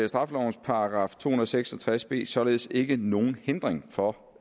straffelovens § to hundrede og seks og tres b således ikke nogen hindring for